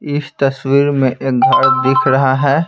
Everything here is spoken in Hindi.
इस तस्वीर में एक घर दिख रहा है।